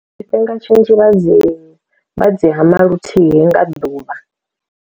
Tshifinga tshinzhi vhadzi vhadzi hama luthihi nga ḓuvha.